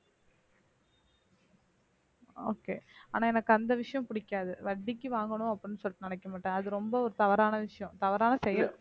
okay ஆன எனக்கு அந்த விஷயம் பிடிக்காது வட்டிக்கு வாங்கணும் அப்படின்னு சொல்லிட்டு நினைக்க மாட்டேன் அது ரொம்ப ஒரு தவறான விஷயம் தவறான செயல்